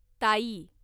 ताई